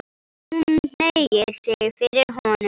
Hún hneigir sig fyrir honum.